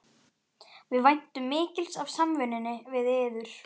Við væntum mikils af samvinnunni við yður